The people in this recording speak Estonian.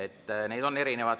Arvamusi on erinevaid.